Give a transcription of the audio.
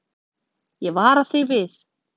Ég vara þig við.